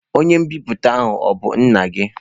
Onye nbipute a o bu nna gi?